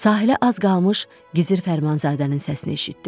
Sahilə az qalmış Gizir Fərmanzadənin səsini eşitdim.